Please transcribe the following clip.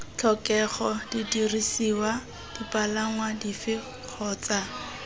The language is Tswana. tlhokega didirisiwa dipalangwa dife kgotsa